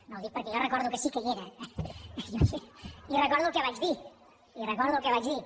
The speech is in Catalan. no ho dic perquè jo recordo que sí que hi era i recordo el que vaig dir i recordo el que vaig dir